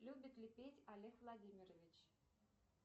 любит ли петь олег владимирович